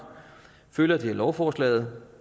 følger det af lovforslaget